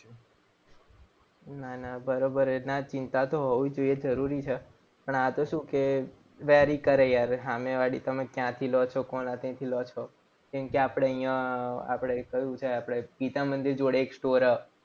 નાના બરોબર. ના ચિંતા તો હોવી જોઈએ જરૂરી છે. પણ આ તો શું કે quary કરે યાર સામેવાળી. તમે ક્યાંથી લો છો? કોના ત્યાંથી લો છો? કેમ કે આપણે અહીંયા આપણે કહ્યું છે આપણે ગીતામંદિર જોડે એક store